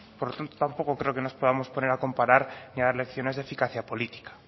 por lo tanto tampoco creo que nos podamos poner a comparar ni a dar lecciones de eficacia política